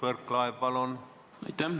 Mart Võrklaev, palun!